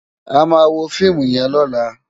Àmá wó fiimú yèn lòlá